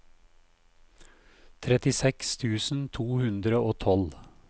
trettiseks tusen to hundre og tolv